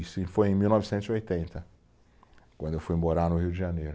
Isso foi em mil novecentos e oitenta, quando eu fui morar no Rio de Janeiro.